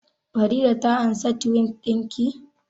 Farida ta ansa Tiwit ɗin ki?